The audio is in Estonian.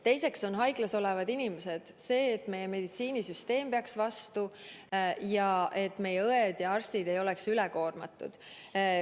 Teiseks, haiglas olevad inimesed, see, et meie meditsiinisüsteem peaks vastu ja meie õed ja arstid ei oleks ülekoormatud.